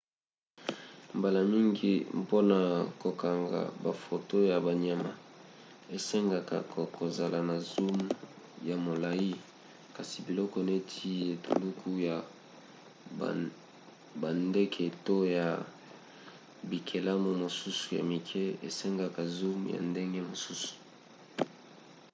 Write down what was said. mbala mingi mpona kokanga bafoto ya banyama esengaka kozala na zoom ya molai kasi biloko neti etuluku ya bandeke to ya bikelamu mosusu ya mike esengaka zoom ya ndenge mosusu